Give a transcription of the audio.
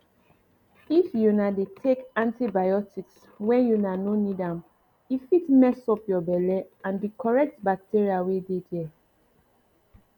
if una dey take antibiotics when una no need ame fit mess up your belle and the correct bacteria wey dey there